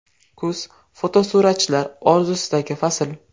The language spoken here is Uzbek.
Kuz fotosuratchilar orzusidagi fasl.